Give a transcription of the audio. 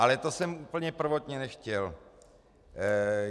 Ale to jsem úplně prvotně nechtěl.